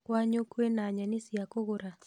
Kwanyu kwĩna nyeni cia kũgũra